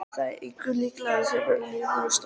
Það er engu líkara en hann sé límdur við stólinn.